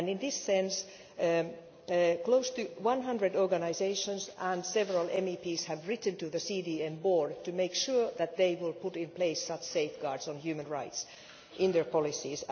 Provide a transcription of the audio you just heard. In this respect, close to 100 organisations and several MEPs have written to the CDM Board to make sure that they will put in place such safeguards on human rights in their policies.